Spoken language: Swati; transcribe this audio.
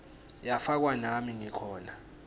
yafakwa nami ngikhona